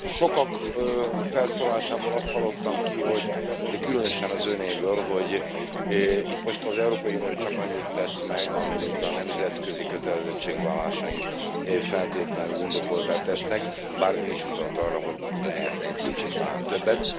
Sokak felszólalásából azt hallottam ki de különösen az Önéből hogy itt most az Európai Unió csak annyit tesz meg, amennyit a nemzetközi kötelezettségvállalásaink feltétlenül indokolttá tesznek. Bár Ön is utalt arra, hogy lehetne egy kicsit talán többet.